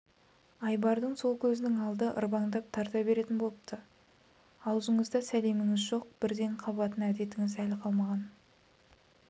айбардың сол көзінің алды ырбаңдап тарта беретін болыпты аузыңызда сәлеміңіз жоқ бірден қабатын әдетіңіз әлі қалмаған